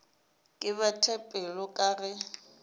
ke bete pelo ka ge